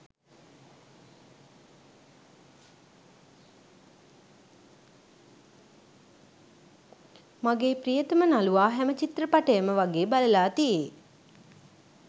මගේ ප්‍රියතම නළුවා හැම චිත්‍රපටයම වගේ බලලා තියේ.